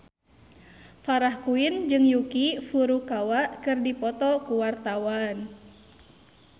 Farah Quinn jeung Yuki Furukawa keur dipoto ku wartawan